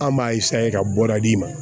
An b'a ka bɔda di ma